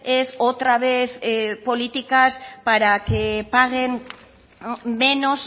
es otra vez políticas para que paguen menos